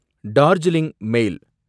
டார்ஜிலிங் மேல்